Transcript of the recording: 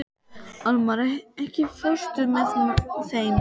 Almar, ekki fórstu með þeim?